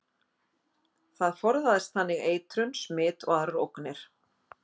Það forðaðist þannig eitrun, smit og aðrar ógnir.